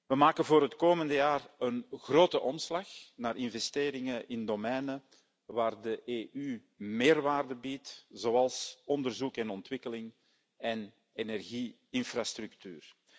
We maken voor het komende jaar een grote omslag naar investeringen in domeinen waar de EU meerwaarde biedt, zoals onderzoek en ontwikkeling en energie infrastructuur.